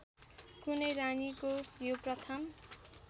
कुनै रानीको यो प्रथम